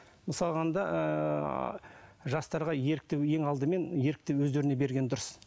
мысалға алғанда ыыы жастарға ерікті ең алдымен ерікті өздеріне берген дұрыс